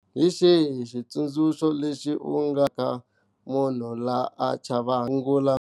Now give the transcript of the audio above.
Hi xihi xitsundzuxo lexi u nga nyika munhu la a chavaka ku sungula.